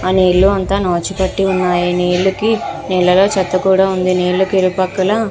అని నీళ్ళు అంత నాచు పట్టి ఉన్నాయి నీలకి చెత్త కూడా ఉంది నీళ్ల కి ఇరు పక్కల --